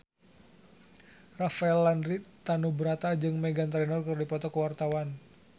Rafael Landry Tanubrata jeung Meghan Trainor keur dipoto ku wartawan